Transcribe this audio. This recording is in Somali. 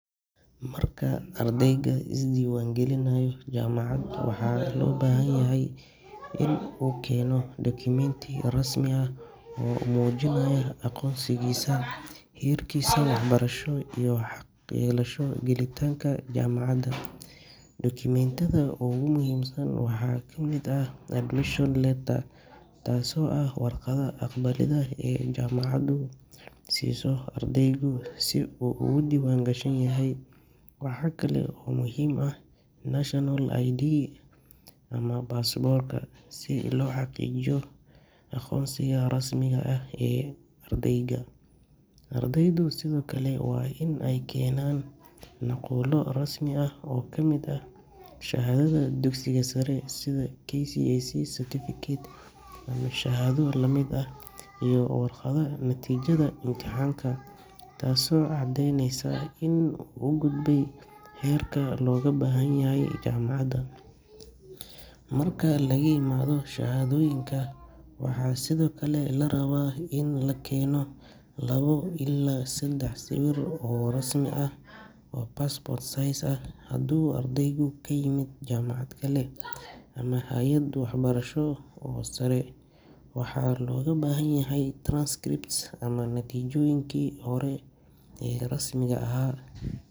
Marka ardaygu isdiiwaan gelinayo jaamacad, waxaa loo baahan yahay inuu keeno dukumeenti rasmi ah oo muujinaya aqoonsigiisa, heerkiisa waxbarasho iyo xaq u yeelashada gelitaanka jaamacadda. Dukumeentiyada ugu muhiimsan waxaa ka mid ah admission letter, taasoo ah warqadda aqbalidda ee jaamacaddu siiso ardayga si uu ugu diiwaan gashan yahay. Waxa kale oo muhiim ah national ID ama baasaboorka, si loo xaqiijiyo aqoonsiga rasmiga ah ee ardayga. Ardaydu sidoo kale waa inay keenaan nuqullo rasmi ah oo ka mid ah shahaadada dugsiga sare, sida KCSE certificate ama shahaado la mid ah, iyo warqadda natiijada imtixaanka, taasoo caddeyneysa in uu gudbay heerka looga baahan yahay jaamacadda. Marka laga yimaado shahaadooyinka, waxaa sidoo kale la rabaa in la keeno laba ilaa saddex sawir oo rasmi ah oo passport size ah. Haddii ardaygu ka yimid jaamacad kale ama hay’ad waxbarasho oo sare, waxaa looga baahan yahay transcripts ama natiijooyinkii hore.